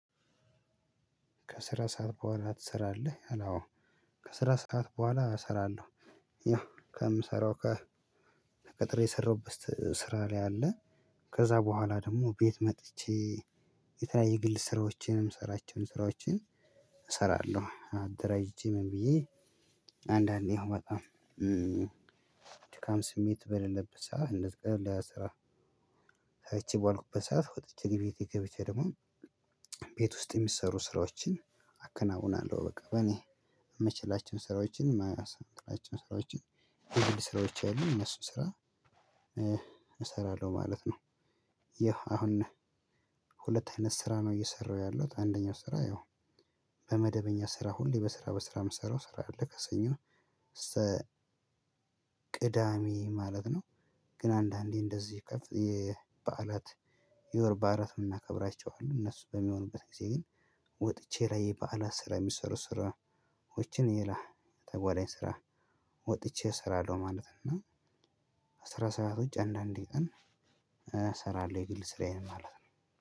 "ከስራ ሰዓት በኋላ ትሰራለህ?" ይላል፣ አዎ። ከስራ ሰዓት በኋላ እሰራለሁ። ያው ከምሰራው ከ ተቀጥሬ የሰራሁበት ስራ ላይ አለ ከዛ በኋላ ደግሞ ቤት መጥቼ የተለያየ የግል ስራዎችን የምሰራቸውን ስራዎችን እሰራለሁ። አደራጅቼ ምን ብዬ አንዳንዴ ያው በጣም ድካም ስሜት በሌለበት ሰዓት እንደዚህ ቀለል ያለ ስራ ሰርቼ በዋልኩበት ሰዓት ወጥቼ ቤቴ ገብቼ ደግሞ ቤት ውስጥ የሚሰሩ ስራዎችን አከናውናለሁ በቃ በእኔ የምችላቸውን ስራዎችን የምችላቸውን ስራዎችን የግል ስራዎቼ አሉ እነሱን ስራ እሰራለሁ ማለት ነው። ያው አሁን ሁለት አይነት ስራ ነው እየሰራሁ ያለሁት አንደኛው ስራ ያው በመደበኛ ስራ ሁሌ በስራ በስራ የምሰራው ስራ አለ ከሰኞ ነው እስተ ቅዳሜ ማለት ነው፤ ግን አንዳንዴ እንደዚህ ከፍ የ በዓላት የወር በዓላት ምናከብራቸው አሉ እነሱ በሚሆኑበት ጊዜ ግን ወጥቼ ላይ በዓላት ስራ የሚሰሩ ስራዎችን ሌላ ተጓዳኝ ስራ ወጥቼ እሰራለሁ ማለት ነው፤ እና የስራ ሰዓት ውጭ አንዳንድ ቀን እሰራለሁ የግል ስራዬን ማለት ነው።